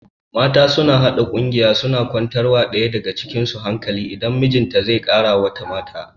Mata suna haɗa ƙungiya suna kwantar wa ɗaya daga cikin su hankali idan mijinta zai kara wata mata